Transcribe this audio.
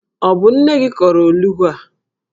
Ọ bụ nne gi kọrọ olughu a?